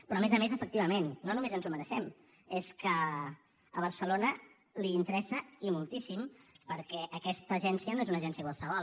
però a més a més efectivament no només ens ho mereixem és que a barcelona li interessa i moltíssim perquè aquesta agència no és una agència qualsevol